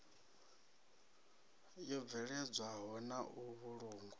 yo bveledzwaho na u vhulungwa